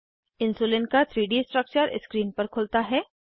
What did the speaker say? insulin का 3डी structure screen पर खुलता है